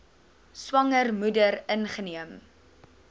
swanger moeder ingeneem